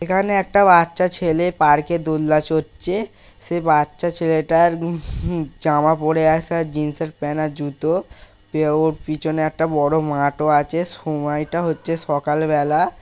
এখানে একটা বাচ্চা ছেলে পার্কে দোলনা চড়ছে। সে বাচ্চা ছেলেটার জামা পড়ে আছে আর জিন্সএর প্যান্ট আর জুতো। ওর পিছনে একটা বড় মাঠও আছে সময়টা হচ্ছে সকালবেলা।